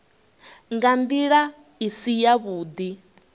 nga ndila i si yavhudi